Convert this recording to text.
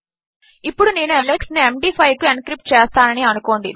ఇప్పుడునేను Alex ను MD five కుఎన్క్రిప్ట్చేస్తాననిఅనుకోండి